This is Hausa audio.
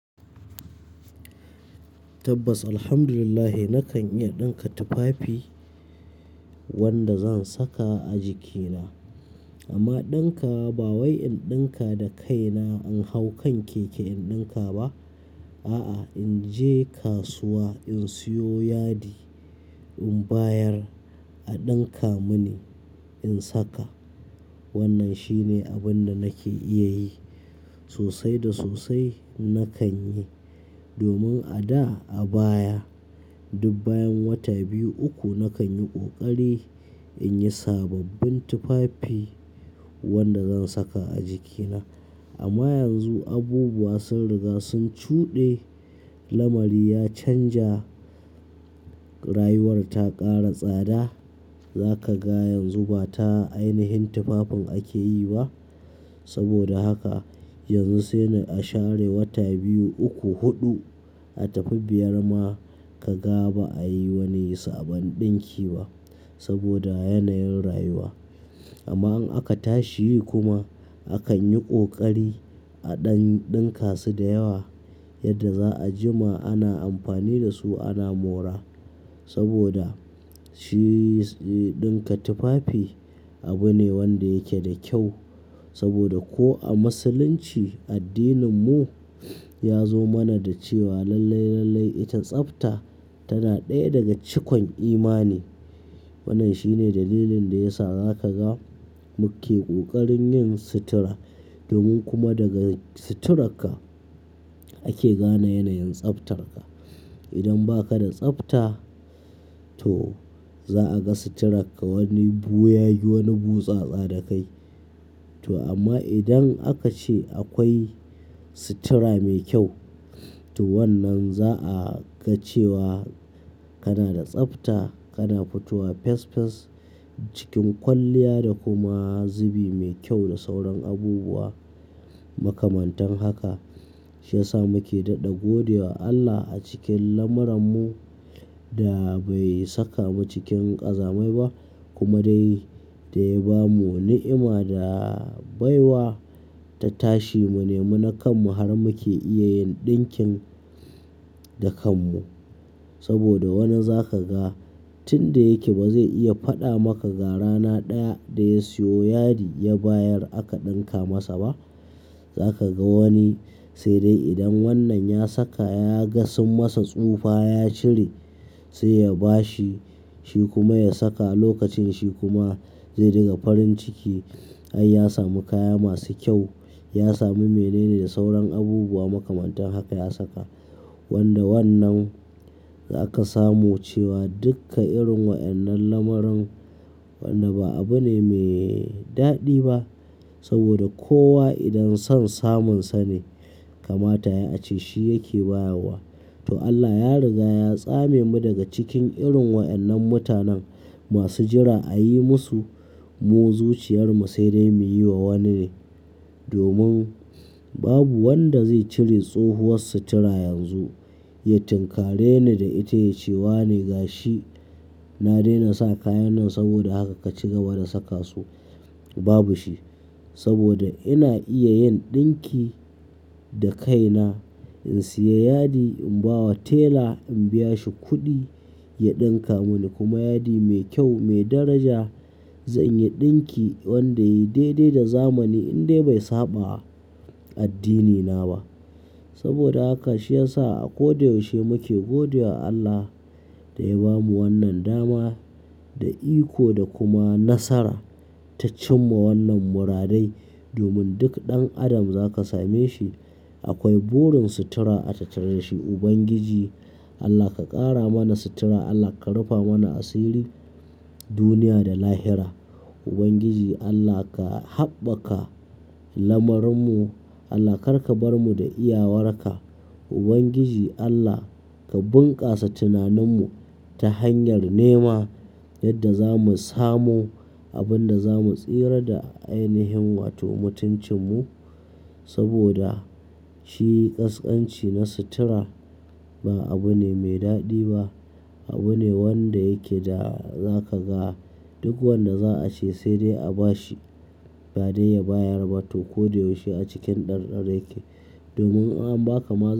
Tabbas, Alhamdulillah nakan iya ɗinka tufafi wanda zan saka a jikina. Amma ɗinkawa ba wai in ɗinka da kaina, in hau kan keke in ɗinka ba. A'a, in je kasuwa in siyo yadi in bayar a ɗinka mini in saka. Wannan shine abin da nake iya yi sosai da sosai. Nakan yi domin a da, a baya duk bayan wata biyu, uku nakan yi ƙoƙari in yi sababbin tufafi wanda zan saka a jikina. Amma yanzu abubuwa sun riga sun cuɗe. Lamari ya canja, rayuwar ta ƙara tsada. Za ka ga yanzu ba ta ainihin tufafin ake yi ba. Saboda haka yanzu sai dai a share wata biyu, uku, huɗu, a tafi biyar ma ka ga ba a yi wani sabon ɗinki ba saboda yanayin rayuwa. Amma in aka tashi kuma akan yi ƙoƙari a ɗan-ɗinkasu da yawa yadda za a jima ana amfani da su ana mora saboda shi, shi ɗinka tufafi abu ne wanda yake da kyau. Saboda ko a musulunci addininmu ya zo mana da cewa lallai, lallai ita tsafta tana ɗaya daga cikon iman. Wannan shine dalilin da ya sa za ka ga muke ƙoƙarin yin sutura domin kuma daga suturarka ake gane yanayin tsaftarka. Idan ba ka da tsafta, to za a ga suturarka wani ɓuyagi, wani butsatsa da kai. To amma idan aka ce akwai sutura mai kyau, to wannan za a ga cewa kana da tsafta, kana fitowa fes fes, cikin kwalliya da kuma zubi mai kyau da sauran abubuwa makamantan haka. Shi ya sa muke daɗe gode wa Allah a cikin lamarinmu da bai saka mu cikin ƙazamai ba kuma dai da ya ba mu ni'ima da baiwa ta tashi mu nemi na kanmu har muke iya yin ɗinkin da kanmu. Saboda wani za ka ga tun da yake ba zai iya faɗa maka ga rana ɗaya da ya siyo yadi ya bayar aka ɗinka masa ba. Za ka ga wani sai dai idan wannan ya saka ya ga sun masa tsufa ya cire sai ya ba shi, shi kuma ya saka. Lokacin shi kuma zai riga farin ciki ai ya sami kaya masu kyau. Ya sami mene ne da sauran abubuwa makamantan haka ya saka. Wanda wannan za ka samu cewa duka irin wa'annan lamarin wannda ba abu ne mai daɗi ba saboda kowa idan son samun sa ne kama ta ya a ce shi yake bayarwa. To Allah ya riga ya tsame mu daga cikin irin wa'annan mutanen masu jira a yi musu. Mu zuciyar mu sai dai muyi wa wani ne domin babu wanda zai cire tsohuwar sutura yanzu ya tinkare ni da ita ya ce "Wane ga shi na daina sa kayan nan saboda haka ka ci gaba da saka su." Babu shi saboda ina iya yin ɗinki da kaina. In siyo yadi in ba wa tela in biya shi kuɗi ya ɗinka mini kuma yadi mai kyau, mai daraja zan yi ɗinki wanda ya yi dai dai da zamani indai bai saɓa addinina ba. Saboda haka shi ya sa a koyaushe muke gode wa Allah da ya ba mu wannan dama da iko da kuma nasara ta cimma wannan muradai. Domin duk ɗan adam za ka same shi akwai burin sutura a tattare da shi. Ubangiji Allah ka ƙara mana sutura, Allah ka rufe mana asirin duniya da lahira. Ubangiji Allah ka haɓaka lamarinmu, Allah kar ka bar mu da iyawarka. Ubangiji Allah ka bunƙasa tunaninmu ta hanyar nema yadda za mu samu abin da za mu tsira da ainihin wato mutuncinmu saboda shi ƙasƙanci na sutura ba abu ne mai daɗi ba. Abu ne wanda yake da za ka ga duk wanda za a ce sai dai a ba shi ba dai ya bayar ba to koyaushe a cikin ɗar ɗar yake. Domin in an ba ka ma za.